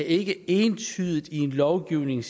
ikke entydigt i en lovgivning